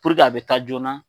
a be taa joona.